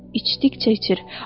İçdikcə içir.